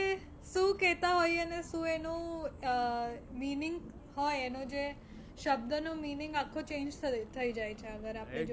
શું કેતા હોઈએ અને શું એનું અ meaning હોય એનો જે શબ્દ નો meaning આખો change થઇ જાય છે અગર આપણે